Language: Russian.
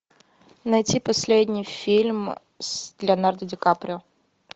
найти последний фильм с леонардо ди каприо